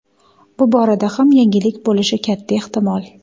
Bu borada ham yangilik bo‘lishi katta ehtimol.